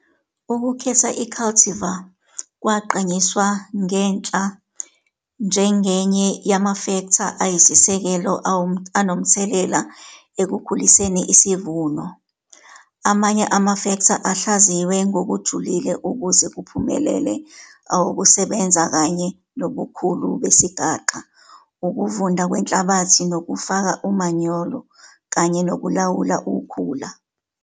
Ukukhetha i-cultivar kwagqanyiswa ngenhla njengenye yamafektha ayisisekelo anomthelela ekukhuliseni isivuno. Amanye amafektha ahlaziywe ngokujulile ukuze kuphumelele awukusebenza kanye nobukhulu besigaxa, ukuvunda kwenhlabathi nokufaka umanyolo, kanye nokulawula ukhula.